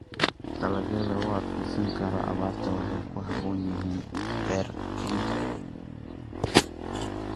Dalagyada u adkeysan kara abaarta waxay ku habboon yihiin beer-kaynta.